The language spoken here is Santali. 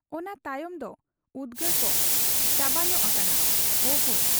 ᱚᱱᱟ ᱛᱟᱭᱚᱢ ᱫᱚ ᱩᱫᱽᱜᱟᱹᱨ ᱠᱚ ᱪᱟᱵᱟᱧᱚᱜ ᱟᱠᱟᱱᱟ ᱾ ᱚᱦᱚ !